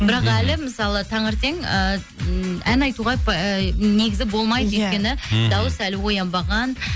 бірақ әлі мысалы таңертең ы ән айтуға ы негізі болмайды иә өйткені дауыс әлі оянбаған